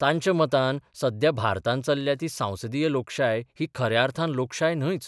तांच्या मतान सध्या भारतांत चल्ल्या ती सांसदीय लोकशाय ही खऱ्या अर्थान लोकशाय न्हयच.